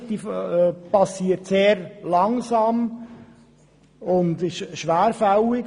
Die Aktualisierung geschieht sehr langsam und ist schwerfällig.